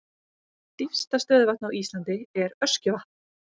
Dýpsta stöðuvatn á Íslandi er Öskjuvatn.